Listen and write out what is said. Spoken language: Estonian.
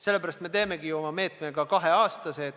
Sellepärast me teemegi oma meetme vähemalt kahe aasta pikkuse.